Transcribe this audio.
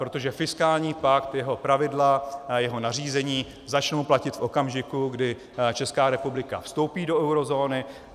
Protože fiskální pakt, jeho pravidla, jeho nařízení začnou platit v okamžiku, kdy Česká republika vstoupí do eurozóny.